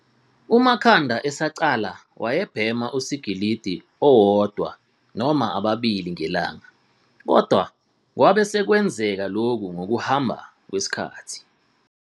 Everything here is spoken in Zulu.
UMakhanda esaqala wayebhema usikilidi owodwa noma ababili ngelanga, kodwa kwabe sekwengezeka lokhu ngokuhamba kwesikhathi.